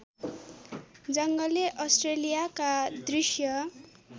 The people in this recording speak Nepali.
जङ्गली अस्ट्रेलियाका दृश्य